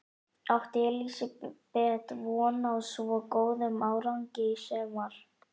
Átti Elísabet von á svo góðum árangri í sumar?